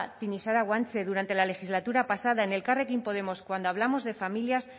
tinixara guanche durante la legislatura pasada en elkarrekin podemos cuando hablamos de familias